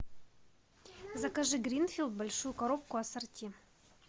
закажи гринфилд большую коробку ассорти